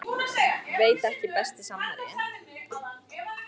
Veit ekki Besti samherji?